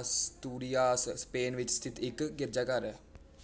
Asturias Spain ਵਿੱਚ ਸਥਿਤ ਇੱਕ ਗਿਰਜਾਘਰ ਹੈ